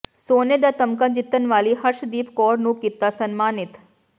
ਸੋਨੇ ਦਾ ਤਮਗਾ ਜਿੱਤਣ ਵਾਲੀ ਹਰਸ਼ਦੀਪ ਕੌਰ ਨੂੰ ਕੀਤਾ ਸਨਮਾਨਿਤ